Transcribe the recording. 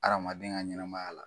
Adamaden ka ɲɛnamaya la.